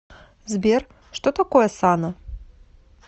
сбер что такое сана